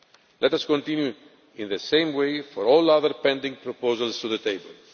Let us continue in the same way for all other pending proposals on the table.